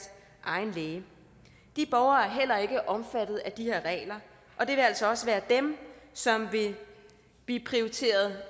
egen læge de borgere er heller ikke omfattet af de her regler og det vil altså også være dem som vil blive prioriteret